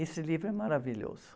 Esse livro é maravilhoso.